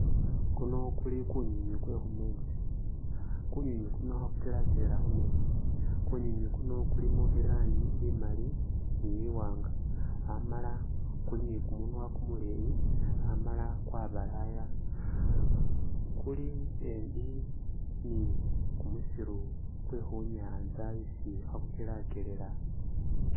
Kuno kuli kunywinywi kwe khumeetsi kunywinywi kuno khe ku’kelakelela khumeetsi ,kunywinywi kuno kulimo irangi imaali ni iwaanga amala kuli ni kumunwa kumuleeyi amala kwabalaaya ,kuli embi ni kumusiru kwe khunyantsa isi khe kukelakelela .